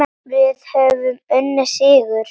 Höfum unnið sigur.